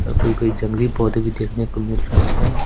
और कोई कोई जंगली पौधे भी देखने को मिल रहे हैं।